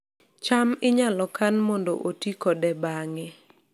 cham inyalo kan mondo oti kode bang'e